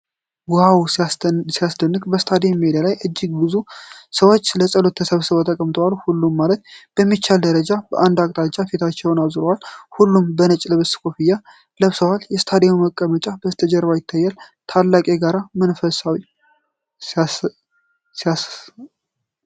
ዋው ሲያስደንቅ! በስታዲየም ሜዳ ላይ እጅግ ብዙ ሰዎች ለጸሎት ተሰብስበው ተቀምጠዋል። ሁሉም ማለት በሚቻል ደረጃ በአንድ አቅጣጫ ፊታቸውን አዙረዋል። ሁሉም በነጭ ልብስና ኮፍያ ለብሰዋል። የስታዲየሙ መቆሚያዎች ከበስተጀርባ ይታያሉ። ታላቅ የጋራ መንፈስ! ሲያሳውቅ!